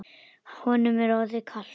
Honum er orðið kalt.